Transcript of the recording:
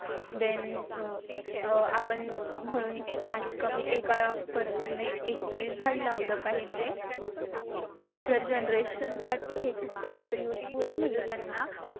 then आपण म्हणत कमीत कमी एका person ने एक तरी झाड लावला पाहिजे. future generation साठी. हे खूप जास्त useful आहे म्हणजे त्यांना